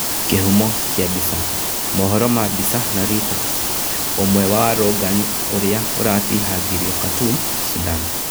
Kĩhumo kia mbica, mohoro ma mbica na Reuters, ũmwe wa waarũrũngani ũrĩa ũratihangirio Khartoum, Sudan